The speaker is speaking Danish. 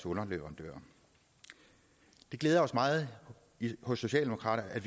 underleverandører det glæder os meget hos socialdemokraterne at